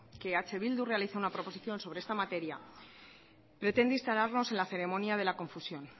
que eh bildu realiza una proposición sobre esta materia pretende instalarlos en la ceremonia de la confusión